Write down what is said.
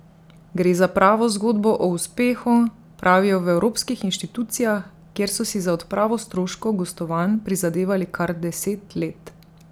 Gre za pravo zgodbo o uspehu, pravijo v evropskih inštitucijah, kjer so si za odpravo stroškov gostovanj prizadevali kar deset let.